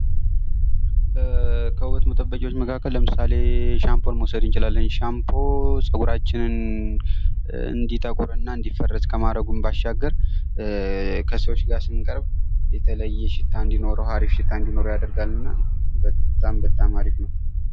ከውበት መጠበቂያዎች መካከል ለምሳሌ ነው ሻምፖን መውሰድ እንችላለን ሻፖን ጸጉርራችንን እንዲጠቁርና እንዲፈረዝስ ከማረጉን በተጨማሪ ከሰዎች ጋር ስንቀርብ የተለያዩ ሽታ እንዲኖረው አሪፍ ሽታ እንዲኖረው ያደርጋል በጣም አሪፍ ነው።